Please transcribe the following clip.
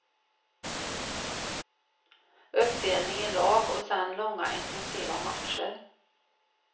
Uppdelning i lag och sedan långa intensiva matcher.